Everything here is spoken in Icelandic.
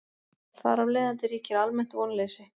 þar af leiðandi ríkir almennt vonleysi